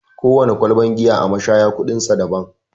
Kowana kwalban giya a mashaya kuɗin sa daban.